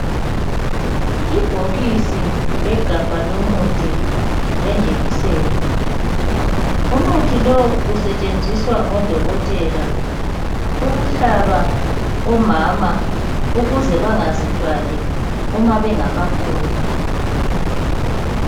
ibhokisi legabha lomuthi lejekiseni umuthi lo usetshenziswa ngo dokotela ukuhlaba omama ukuze bangazithwali uma bengakafuni